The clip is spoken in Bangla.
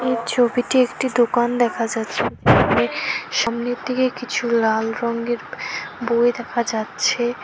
এই ছবিটি একটি দোকান দেখা যাচ্ছে সামনের দিকে কিছু লাল রংয়ের বই দেখা যাচ্ছে।